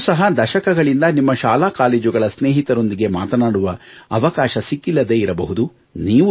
ನಿಮಗೂ ಸಹ ದಶಕಗಳಿಂದ ನಿಮ್ಮ ಶಾಲಾ ಕಾಲೇಜುಗಳ ಸ್ನೇಹಿತರೊಂದಿಗೆ ಮಾತನಾಡುವ ಅವಕಾಶ ಸಿಕ್ಕಿಲ್ಲದೆ ಇರಬಹುದು